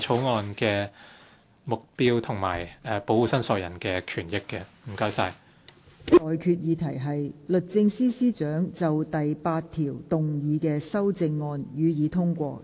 我現在向各位提出的待決議題是：律政司司長就附表動議的修正案，予以通過。